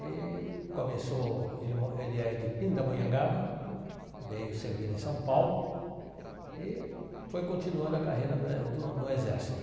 E começou ele mo ele é de Pindamonhangaba, veio servir em São Paulo e foi continuando a carreira no no exército.